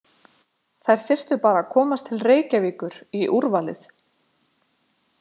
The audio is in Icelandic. Þær þyrftu bara að komast til Reykjavíkur í úrvalið.